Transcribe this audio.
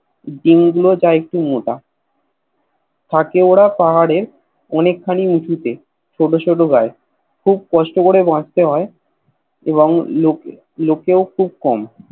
জিন গুলো যা একটু মোটা থাকে ওরা পাহাড়ে অনেক খানি উচুতে ছোট ছোট গায়ে খুব কষ্ট করে বাচতে হয় এবং লকেও লোকেও খুব কম